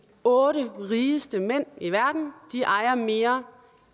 otte rigeste mænd i verden ejer mere